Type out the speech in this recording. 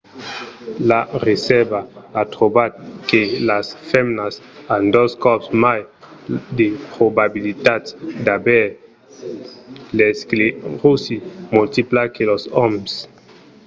la recerca a trobat que las femnas an dos còps mai de probabilitats d'aver l'escleròsi multipla que los òmes